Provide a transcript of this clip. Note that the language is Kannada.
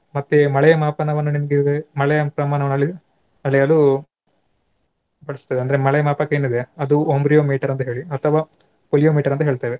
ಮತ್ತೆ ಮಳೆಯ ಮಾಪನವನ್ನು ನಿಮಗೆ ಮಳೆಯ ಪ್ರಮಾಣ ಅಳೆ~ ಅಳೆಯಲು ಬಳಸ್ತೇವೆ. ಅಂದ್ರೆ ಮಳೆಯ ಮಾಪಕ ಏನಿದೆ ಅದು ombrometer ಅಂತ ಹೇಳಿ ಅಥವಾ pyrheliometer ಅಂತ ಹೇಳ್ತೇವೆ.